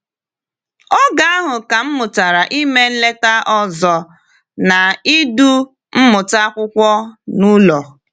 “Oge ahụ ka m mụtara ime nleta ọzọ na idu mmụta akwụkwọ n’ụlọ.”